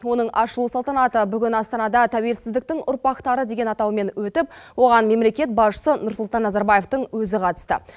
оның ашылу салтанаты бүгін астанада тәуелсіздіктің ұрпақтары деген атаумен өтіп оған мемлекет басшысы нұрсұлтан назарбаевтың өзі қатысты